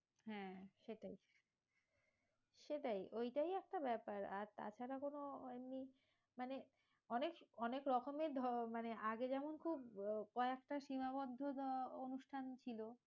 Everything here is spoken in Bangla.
হ্যাঁ সেটাই, সেটাই ওইটাই একটা ব্যাপার, আর তাছাড়া কোনো ওই মানে অনেক অনেক রকমের মানে আগে যেমন খুব কয়েকটা সীমাবদ্ধ অনুষ্ঠান ছিল,